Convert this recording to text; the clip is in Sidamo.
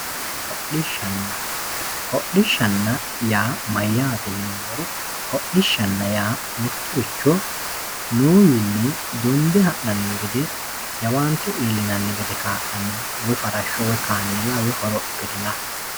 hodhishanna hodhishanna yaa mayyaate yinummoro hodhishanna yaa mittorichcho noowiinni donde ha'nanni gede jawaante iilllinanni gede kaa'lanno woyi farashsho woyi kameela woyi horophilla